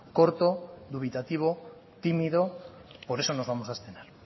corto dubitativo tímido por eso nos vamos a abstener